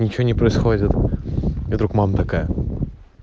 ничего не происходит и вдруг мама такая